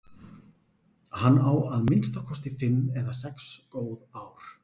Hann á að minnsta kosti fimm eða sex góð ár.